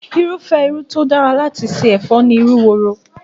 Irúfẹ́ irú tí ó dára láti ṣe ẹ̀fọ́ ni irú woro